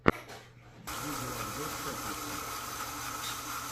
видеообзор топлеса